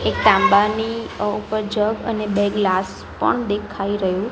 એક તાંબાની ઉપર જગ અને બે ગ્લાસ પણ દેખાય રહ્યુ--